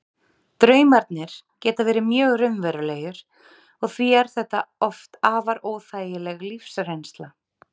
Draumarnir geta verið mjög raunverulegir og því er þetta oft afar óþægileg lífsreynsla.